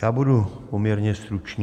Já budu poměrně stručný.